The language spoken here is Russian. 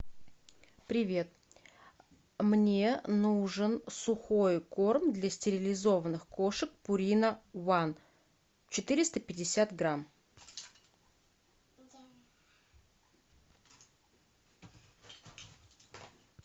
привет мне нужен сухой корм для стерилизованных кошек пурина ван четыреста пятьдесят грамм